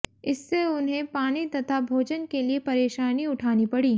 इससे उन्हें पानी तथा भोजन के लिए परेशानी उठानी पड़ी